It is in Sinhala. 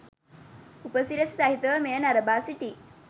උපසි‍රැසි සහිතව මෙය නරඹා සිටි